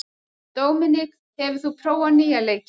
Dominik, hefur þú prófað nýja leikinn?